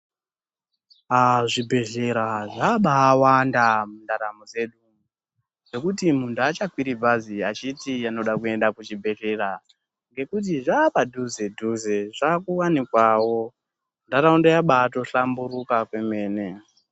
Pazvibhehlera zvabawanda mundaramo dzedu nekuti muntu achakwiri bhazi achiti anoda kuenda kuchibhehlera nekuti zvapadhuze dhuze zvakuwanikwawo ntaraunda yabatohlamburuka kwemene.